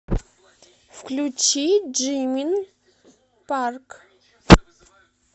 включи джимин парк